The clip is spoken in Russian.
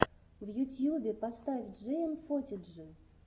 в ютьюбе поставь джиэмфотиджи